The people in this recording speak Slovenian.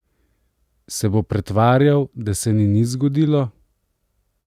Se bo pretvarjal, da se ni nič zgodilo?